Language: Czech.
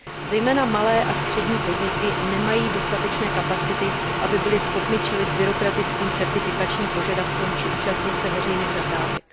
Zejména malé a střední podniky nemají dostatečné kapacity, aby byly schopny čelit byrokratickým certifikačním požadavkům či účastnit se veřejných zakázek.